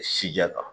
Sijɛ kan